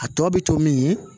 A tɔ bɛ to min ye